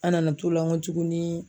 An nana t'o la n gɔ tuguni